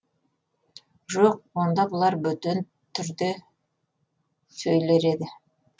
жоқ онда бұлар бөтен түрде сөйлер еді